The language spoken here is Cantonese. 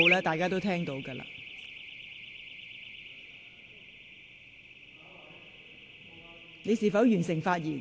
大家已聽到你發出的信號。